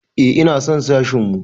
Eh ina son sashin mu.